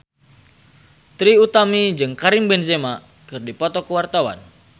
Trie Utami jeung Karim Benzema keur dipoto ku wartawan